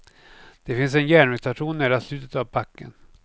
Det finns en järnvägsstation nära slutet av backen.